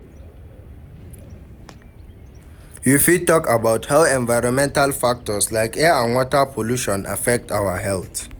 You fit talk about how environmental factors like air and water pollution affect our health.